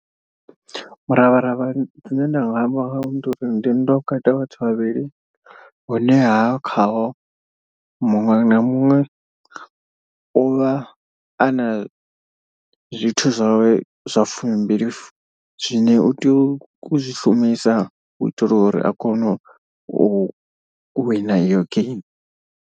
Muravharavha zwine nda nga amba ndi uri ndi nndwa vhukati ha vhathu vhavhili. Hune ha khaho muṅwe na muṅwe uvha a na zwithu zwawe zwa fumi mbili fu zwine u tea u zwi shumisa u itela uri a kone u wina iyo geimi.